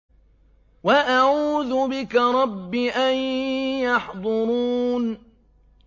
وَأَعُوذُ بِكَ رَبِّ أَن يَحْضُرُونِ